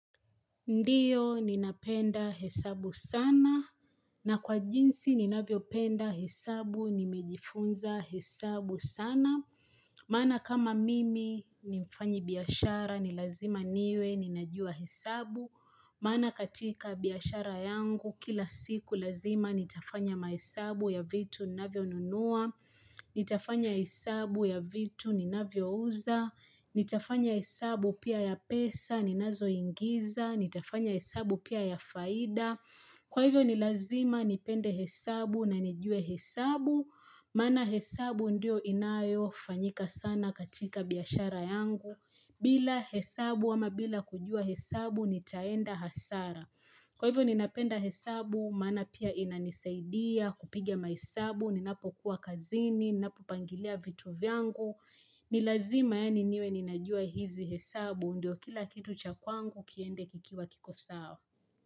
Ndiyo, ninapenda hesabu sana. Na kwa jinsi, ninavyopenda hesabu, nimejifunza hesabu sana. Maana kama mimi, ni mfanyi biashara, ni lazima niwe, ninajua hesabu. Maana katika biashara yangu, kila siku, lazima nitafanya mahesabu ya vitu, ninavyonunua. Nitafanya hesabu ya vitu, ninavyouza. Nitafanya hesabu pia ya pesa, ninazoingiza. Nitafanya hesabu pia ya faida Kwa hivyo ni lazima nipende hesabu na nijue hesabu Maana hesabu ndio inayofanyika sana katika biashara yangu bila hesabu ama bila kujua hesabu nitaenda hasara Kwa hivyo ninapenda hesabu maana pia inanisaidia kupigia mahesabu Ninapokuwa kazini, ninapopangilia vitu vyangu ni lazima yani niwe ninajua hizi hesabu ndio kila kitu cha kwangu kiende kikiwa kiko sawa.